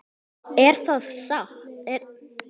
Er þetta satt?